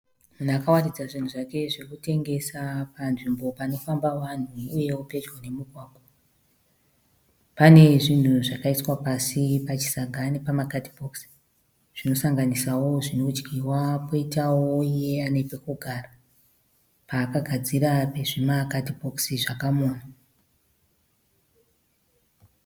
Munhu akawaridza zvinhu zvake zvokutengesa panzvimbo panofamba vanhu uyewo pedyo nemugwagwa. Pane zvinhu zvakaiswa pasi pachisaga nepamakatibhokisi zvinosanganisawo zvinodyiwa poitawo iye ane pokugara paakadzira nezvimakatibhokisi zvakamonwa.